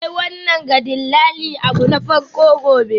Kai wannan ga dillali abu na farko gobe.